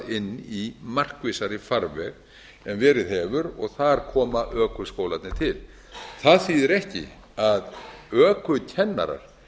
í markvissari farveg en verið hefur og þar koma ökuskólarnir til það þýðir ekki að ökukennarar